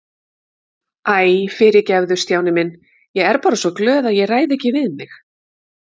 Æ, fyrirgefðu Stjáni minn, ég er bara svo glöð að ég ræð ekki við mig